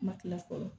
Ma kila fɔlɔ